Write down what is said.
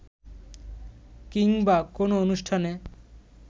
কিংবা কোনো অনুষ্ঠানে